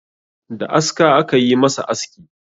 Da aska aka yi masa aski